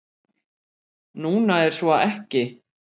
Núna er svo ekki.